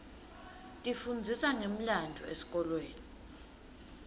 tifundzisa ngemlandvo esikolweni